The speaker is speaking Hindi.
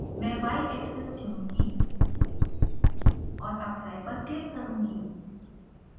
मैं x axis चुनूँगी और apply पर क्लिक करुँगी